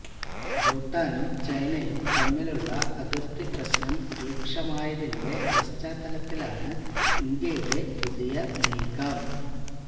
ഭൂട്ടാനും ചൈനയും തമ്മിലുള്ള അതിർത്തി പ്രശ്നം രൂക്ഷമായതിന്റെ പശ്ചാത്തലത്തിലാണ് ഇന്ത്യയുടെ പുതിയ നീക്കം